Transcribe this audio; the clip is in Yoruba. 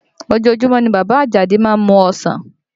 Ojoojúmọ́ ni bàbá Àjàdí má ń mu ọsàn